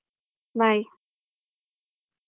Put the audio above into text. Bye.